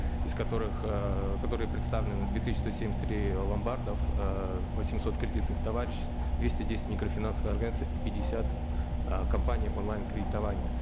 из которых ыыы которые представлены две тысяча сто семьдесят три ломбардов ыыы восемьсот кредитных товариществ двести десять микрофинансовых организаций и пятьдесят ы компаний онлайн кредитований